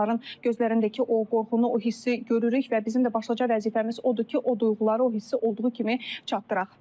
Onların gözlərindəki o qorxunu, o hissi görürük və bizim də başlıca vəzifəmiz odur ki, o duyğuları, o hissi olduğu kimi çatdıraq.